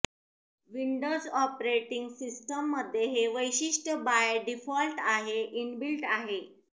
Windows operating सिस्टममध्ये हे वैशिष्ट्य बाय डीफॉल्ट आहे इनबिल्ट आहे